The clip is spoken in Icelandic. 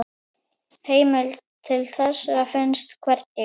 Heimild til þessa finnst hvergi.